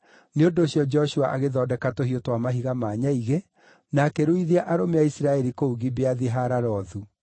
Nĩ ũndũ ũcio Joshua agĩthondeka tũhiũ twa mahiga ma nyaigĩ na akĩruithia arũme a Isiraeli kũu Gibeathi-Haaralothu.